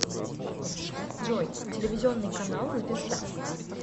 джой телевизионный канал звезда